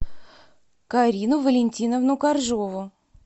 карину валентиновну коржову